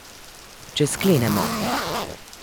Če sklenemo.